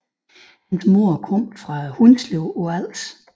Hans mor kom fra Hundslev på Als